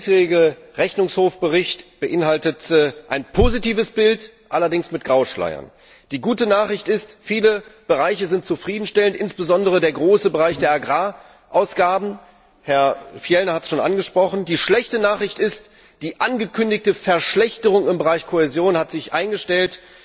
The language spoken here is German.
Der diesjährige Bericht des Rechnungshofs beinhaltet ein positives Bild, allerdings mit Grauschleiern. Die gute Nachricht ist Viele Bereiche sind zufriedenstellend, insbesondere der große Bereich der Agrarausgaben, Herr Fjellner hat es bereits angesprochen. Die schlechte Nachricht ist Die angekündigte Verschlechterung im Bereich Kohäsion hat sich eingestellt,